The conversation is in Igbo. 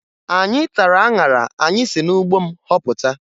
Anyị tara aṅara anyị si n'ugbo m họpụta